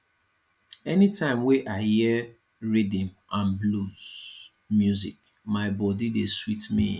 anytime wey i hear rhythm and blues music my body dey sweet me